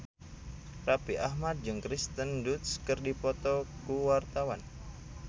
Raffi Ahmad jeung Kirsten Dunst keur dipoto ku wartawan